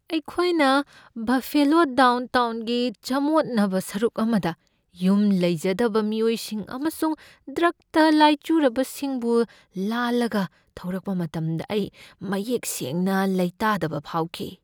ꯑꯩꯈꯣꯏꯅ ꯕꯐꯦꯂꯣ ꯗꯥꯎꯟꯇꯥꯎꯟꯒꯤ ꯆꯃꯣꯠꯅꯕ ꯁꯔꯨꯛ ꯑꯃꯗ ꯌꯨꯝ ꯂꯩꯖꯗꯕ ꯃꯤꯑꯣꯏꯁꯤꯡ ꯑꯃꯁꯨꯡ ꯗ꯭ꯔꯒꯇ ꯂꯥꯏꯆꯨꯔꯕꯁꯤꯡꯕꯨ ꯂꯥꯜꯂꯒ ꯊꯧꯔꯛꯄ ꯃꯇꯝꯗ ꯑꯩ ꯃꯌꯦꯛ ꯁꯦꯡꯅ ꯂꯩꯇꯥꯗꯕ ꯐꯥꯎꯈꯤ꯫